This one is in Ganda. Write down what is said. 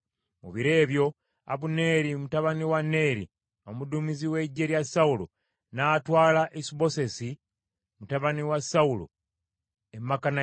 Mu biro ebyo, Abuneeri mutabani wa Neeri, omuduumizi w’eggye lya Sawulo, n’atwala Isubosesi mutabani wa Sawulo e Makanayimu.